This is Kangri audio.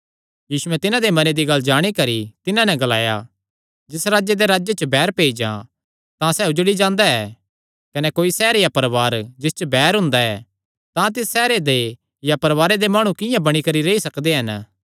यीशुयैं तिन्हां दे मने दी गल्ल जाणी करी तिन्हां नैं ग्लाया जिस राजे दे राज्जे च बैर पेई जां तां सैह़ उजड़ी जांदा ऐ कने कोई सैहर या परवार जिस च बैर हुंदा ऐ तां तिस सैहरे दे या परवारे दे माणु किंआं बणी करी रेई सकदे हन